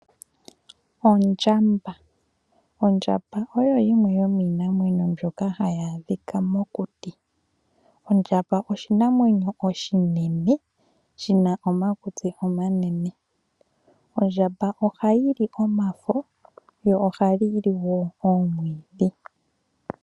Ondjamba Ondjamba oyo yimwe yomiinamwenyo mbyoka hayi adhika mokuti. Ondjamba oshinamwemyo oshinene shina omakutsi omanene. Ondjamba ohayi li omafo, yo ohayi li wo omwiidhi.